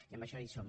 i en això hi som